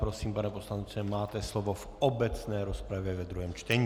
Prosím, pane poslanče, máte slovo v obecné rozpravě ve druhém čtení.